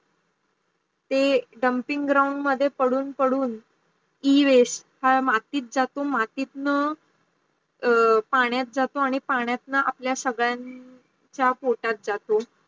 जे dumping ground मध्ये पडून पडून e-waste हा मातीत जातो आणी मातीतन पाण्यात झाटो आणी पाण्यात आपल्या सगडाछ पोटात जातो